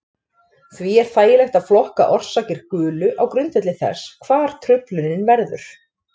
Því er þægilegt að flokka orsakir gulu á grundvelli þess hvar truflunin verður.